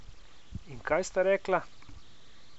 In kaj sta rekla?